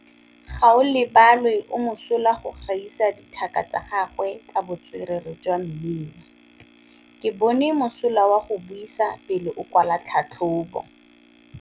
Gaolebalwe o mosola go gaisa dithaka tsa gagwe ka botswerere jwa mmino. Ke bone mosola wa go buisa pele o kwala tlhatlhobô.